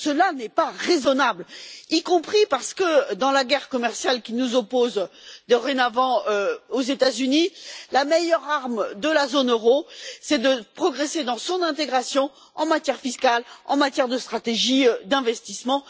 Cela n'est pas raisonnable, y compris parce que, dans la guerre commerciale qui nous oppose dorénavant aux États Unis, la meilleure arme de la zone euro, c'est de progresser dans son intégration en matière fiscale et en matière de stratégie d'investissement.